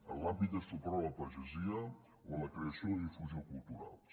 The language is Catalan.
en l’àmbit de suport a la pagesia o en la creació i difusió culturals